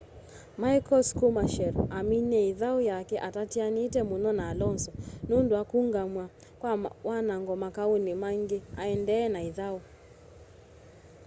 michael schumacher aminie ithau yake atatianite muno na alonso nundu wa kuungamw'a kwa wanango makauni maingi aendee na ithau